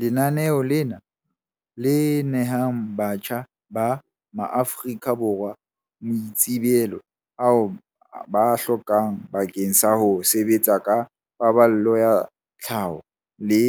Lenaneo lena, le nehang batjha ba maAforika Borwa maitsebelo ao ba a hlokang bakeng sa ho sebetsa ka paballo ya tlhaho le